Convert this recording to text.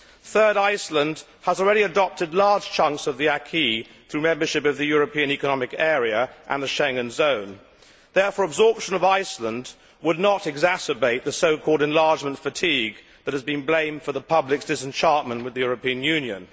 Third, Iceland has already adopted large chunks of the acquis through membership of the European Economic Area and the Schengen zone, so absorption of Iceland would not exacerbate the so called enlargement fatigue' that has been blamed for the public's disenchantment with the European Union.